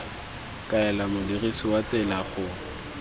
kaela modirisi wa tsela go